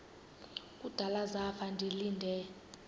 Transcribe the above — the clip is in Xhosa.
kudala zafa ndilinde